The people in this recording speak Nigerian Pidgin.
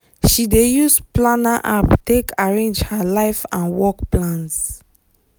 she dey use planner app take arrange her life and work plans.